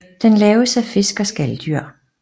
Den laves af fisk og skaldyr